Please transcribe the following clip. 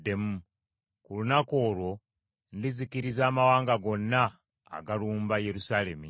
Ku lunaku olwo ndizikiriza amawanga gonna agalumba Yerusaalemi.